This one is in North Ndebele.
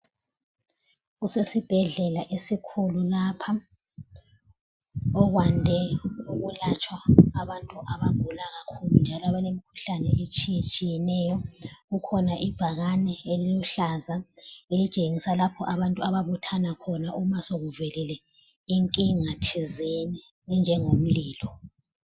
Kusesibhedlela esikhulu lapha okwande ukulatshwa abantu abagula kakhulu njalo abalemikhuhlane etshiyetshiyeneyo. Kukhona ibhakane eliluhlaza elitshengisa lapho abantu ababuthana khona uma sekuvelile inkinga thizeni enjengomlilo.